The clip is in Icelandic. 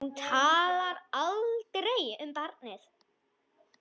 Hún talar aldrei um barnið.